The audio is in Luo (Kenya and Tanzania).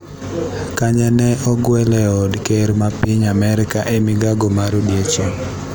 Kanye ne ogwel e od ker ma piny Amerka e migago mar odiochieng'